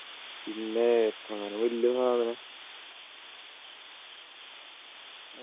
പിന്നെ കാണുമ്പോൾ വലിയ ഒരു സാധനം